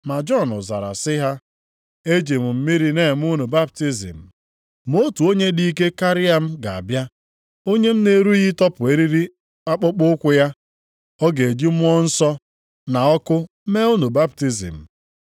Ma Jọn zara sị ha, “Eji m mmiri na-eme unu baptizim, ma otu onye dị ike karịa m ga-abịa, onye m na-erughị ịtọpụ eriri akpụkpọụkwụ ya. Ọ ga-eji Mmụọ Nsọ na ọkụ mee unu baptizim.